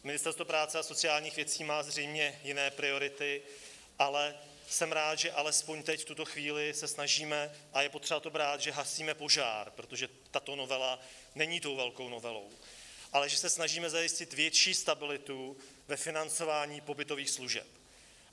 Ministerstvo práce a sociálních věcí má zřejmě jiné priority, ale jsem rád, že alespoň teď v tuto chvíli se snažíme - a je potřeba to brát, že hasíme požár, protože tato novela není tou velkou novelou - ale že se snažíme zajistit větší stabilitu ve financování pobytových služeb.